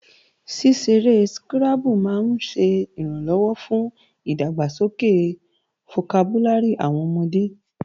Ṣíṣeré skírábù máa ń ṣẹ ìrànlọ́wọ́ fún ìdàgbàsókè fokabúlárì àwọn ọmọde